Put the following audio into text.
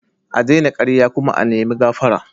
A daina karya kuma a nima gafara.